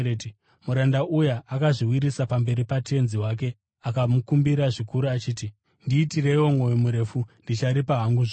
“Muranda uya akazviwisira pamberi patenzi wake akamukumbira zvikuru achiti, ‘Ndiitireiwo mwoyo murefu, ndicharipa hangu zvose.’